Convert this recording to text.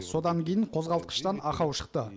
содан кейін қозғалтқыштан ақау шықты